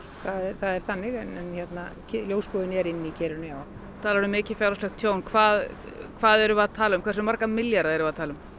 það er þannig er inni í kerinu þú talar um mikið fjárhagslegt tjón hvað hvað erum við að tala um hversu marga milljarða erum við að tala um